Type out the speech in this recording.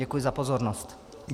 Děkuji za pozornost.